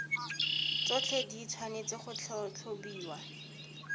tsotlhe di tshwanetse go tlhatlhobiwa